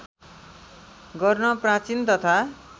गर्न प्राचीन तथा